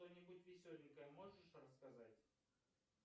что нибудь веселенькое можешь рассказать